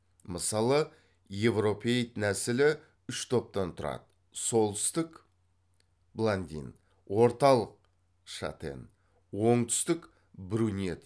мысалы еуропеоид нәсілі үш топтан тұрады солтүстік орталық оңтүстік